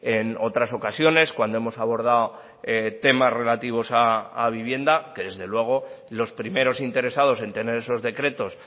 en otras ocasiones cuando hemos abordado temas relativos a vivienda que desde luego los primeros interesados en tener esos decretos